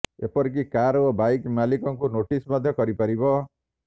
ଏପରିକି କାର୍ ଓ ବାଇକ୍ ମାଲିକଙ୍କୁ ନୋଟିସ୍ ମଧ୍ୟ କରିପାରିବ